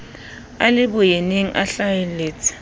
a le boyeneng a hlaheletse